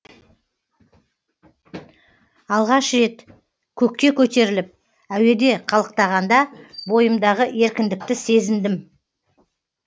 алғаш рет көкке көтеріліп әуеде қалықтағанда бойымдағы еркіндікті сезіндім